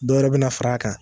Dɔ wɛrɛ bɛ na far'a kan.